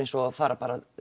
og að fara